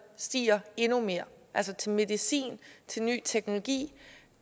stiger endnu mere altså til medicin til ny teknologi